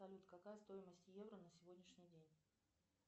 салют какая стоимость евро на сегодняшний день